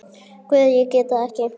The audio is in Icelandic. Guð, ég veit það ekki.